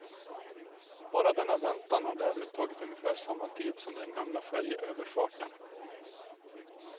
Bara denna väntan har därmed tagit ungefär samma tid som den gamla färjeöverfarten.